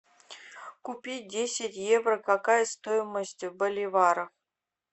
купить десять евро какая стоимость в боливарах